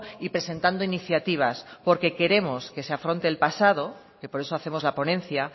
y presentando iniciativas porque queremos que se afronte el pasado que por eso hacemos la ponencia